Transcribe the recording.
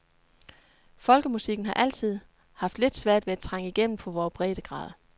Folkemusikken har altid haft lidt svært ved at trænge igennem på vore breddegrader.